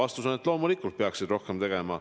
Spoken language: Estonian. Vastus on, et loomulikult peaksid rohkem tegema.